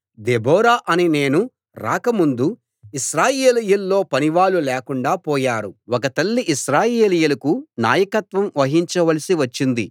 Deborah అనే నేను రాకముందు ఇశ్రాయేలీయుల్లో పనివాళ్ళు లేకుండా పోయారు ఒక తల్లి ఇశ్రాయేలీయులకు నాయకత్వం వహించ వలసి వచ్చింది